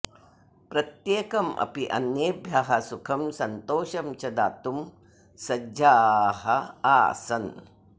प्रत्येकम् अपि अन्येभ्यः सुखं सन्तोषं च दातुं सज्जाः आसन्